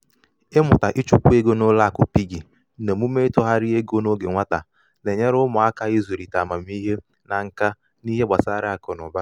ịmụta ichukwa ego na ụlọ akụ piggi na omume ịtụgharị ego n’oge nwata na-enyere ụmụaka ịzụlite amamihe na nka n’ihe gbasara akụ na ụba.